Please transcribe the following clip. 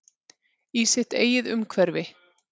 Í sitt eigið umhverfi.